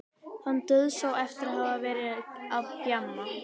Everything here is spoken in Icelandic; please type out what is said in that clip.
Hann dauðsá eftir að hafa verið að gjamma.